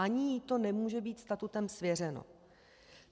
Ani jí to nemůže být statutem svěřeno.